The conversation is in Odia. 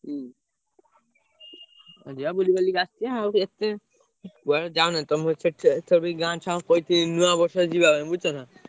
ହୁଁ ଆଉ ଯିବା ବୁଲିବାଲିକି ଆ~ ସିଆ~ ଆଉ ଏତେ କୁଆଡେ ଯାଉନାହାନ୍ତି ତମର ସେଠି ତଥାପି ଗାଁ ଛୁଆଙ୍କୁ କହିଥିଲି ନୂଆବର୍ଷରେ ଯିବା ପାଇଁ ବୁଝୁଛନା?